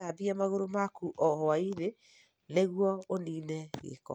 Gĩthambia magũrũ maku o hwaĩ-inĩ nĩguo ũniine gĩko.